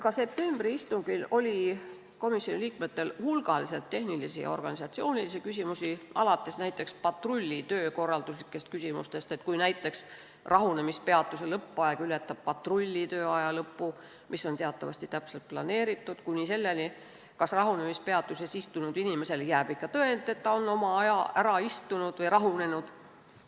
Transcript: Ka septembri istungil oli komisjoni liikmetel hulgaliselt tehnilisi ja organisatsioonilisi küsimusi, alates patrulli töökorralduslikest küsimustest, näiteks, kui rahunemispeatuse lõppaeg ületab patrulli tööaja lõppu, mis on teatavasti täpselt planeeritud, kuni selleni, kas rahunemispeatuses istunud inimesele jääb ikka tõend selle kohta, et ta on oma aja ära istunud või rahunenud.